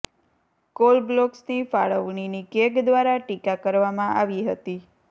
call બ્લોક્સની ફાળવણીની CAG દ્વારા ટીકા કરવામાં આવી હતી